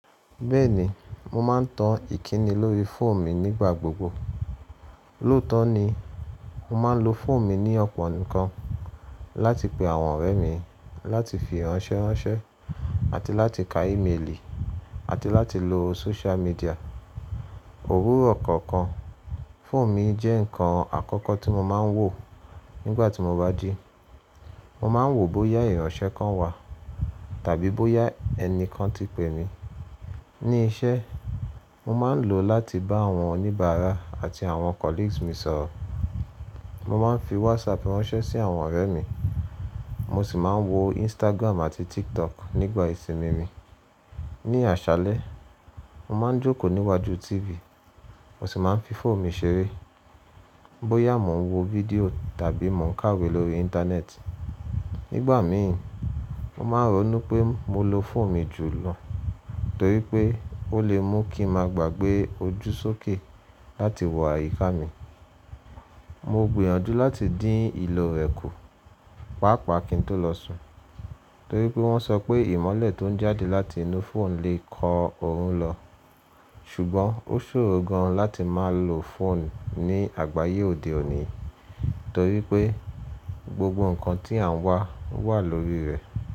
Bẹ́ẹ̀ni, mo ma ń tan ìkíni lórí fóònù mi nígbà gbogbo. Lóòótọ́ ni, mo máa ń lo fóònù mi ní ọ̀pọ̀ nǹkan. Láti pe àwọn ọ̀rẹ́ mi, láti fi ránṣẹ́ ránṣẹ́, àti láti ka é méèlì, àti láti lo social mídìà. Òwúrò ọ̀kọ̀ọ̀kan, fóònù mi jẹ́ nǹkan àkọ́kọ́ tí mo máa ń wò nígbà tí mo bá jí. Mo máa ń wò bóyá ìránṣẹ́ kan wà tàbí bóyá ẹni kan ti pè mí. Ní iṣẹ́, mo máa ń lò ó láti bá àwọn oníbàárà àti àwọn colleagues mi sọ̀rọ̀. Mo máa ń fi WhatsApp ránṣẹ́ sí àwọn ọ̀rẹ́ mi, mo sì máa ń wo Instagram àti TikTok nígbà ìsìnmí mi. Ní àṣálẹ́, mo máa ń jókòó níwájú tívì, mo sì máa ń fi fóònù mi ṣeré, bóyá mò ń wo vidiò tàbí mò ń kàwé lórí intanẹ́ẹ̀tì. Nígbà mìíní, mo máa rọ̀ nu pé mo lo fóònù mi jù lọ, torí pé ó lè mú kí n máa gbàgbé ojú sókè láti wo àyíká mi. Mo gbìyàjú láti dín ìlò rẹ̀ kù, pàápàá kí n tó lọ sùn, torí pé wọ́n sọ pé ìmọ́lẹ̀ tó ń jáde láti inú fóònù lè kọ òórùn lọ. Sùgbọ́n, ó ṣòrò gan-an láti máa lo fóònù ní àgbáyé òde òní, torí pé gbogbo nǹkan tí à ń wà ń wà lórí rẹ̀.